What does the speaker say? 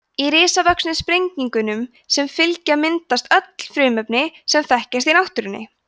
í risavöxnu sprengingunum sem fylgja myndast öll frumefnin sem þekkjast í náttúrunni